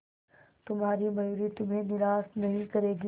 तुम्हारी मयूरी तुम्हें निराश नहीं करेगी